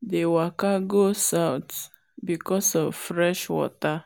dey waka go south because of fresh water.